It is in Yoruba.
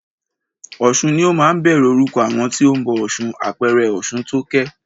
Ọ̀sun ni ó máa ń bẹ̀rẹ̀ orúkọ àwọn tí o ń bọ ọ̀ṣun, àpẹẹrẹ Ọ̀ṣuntókẹ́.